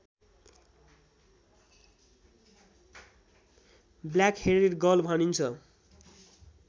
black-headed gull भनिन्छ